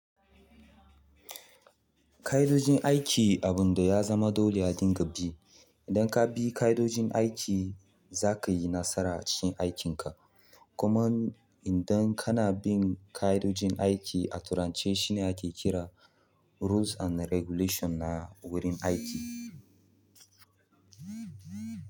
Ƙa'idojin aiki abunda ya zama dole a dinga bi. Idan ka bi ƙa'idojin aiki za ka yi nasara a cikin aikin ka. Kuma idan kana bin ƙa'idojin aiki, a turance shi ne ake kira rules and regulation na wurin aiki.